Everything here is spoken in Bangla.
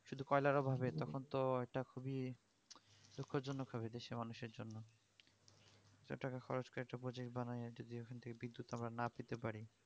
শুধু কয়লার অভাবে তখন তো একটা খুবই দুঃখজনক হবে দেশের মানুষের জন্য এতো টাকা খরচ করে একটা project বানায়া যদি ঐখান থেকে বিদ্যুৎ আমরা না পেতে পারি